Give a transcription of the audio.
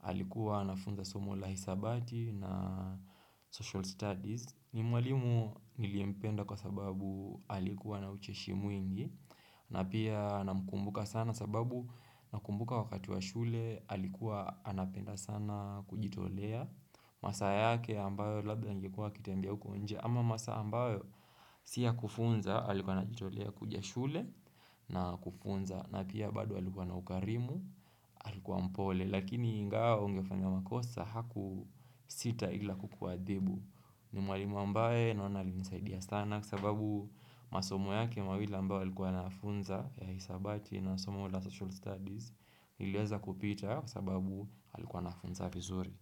alikuwa anafunza somo la hisabati na social studies. Ni mwalimu niliyempenda kwa sababu alikuwa na ucheshimu mwngi na pia namkumbuka sana sababu nakumbuka wakati wa shule Alikuwa anapenda sana kujitolea masa yake ambayo labda angekua akitembea huko nje Ama masaa ambayo si ya kufunza alikuwa anajitolea kuja shule na kufunza na pia bado alikuwa na ukarimu alikuwa mpole Lakini ingao ungefanya makosa hakusita ila kukuadhibu ni mwalimu ambaye naona alinisaidia sana kwa sababu masomo yake mawili ambayo alikuwa anafunza ya hisabati na somo la social studies niliweza kupita kwa sababu alikuwa anafunza vizuri.